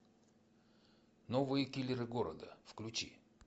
новые киллеры города включи